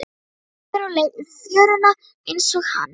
Einhver á leið í fjöruna einsog hann.